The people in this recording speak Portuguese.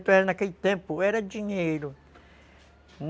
réis naquele tempo era dinheiro.